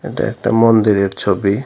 এটা একটা মন্দিরের ছবি।